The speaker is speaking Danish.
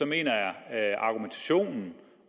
jeg at argumentationen